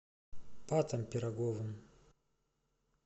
патом пироговым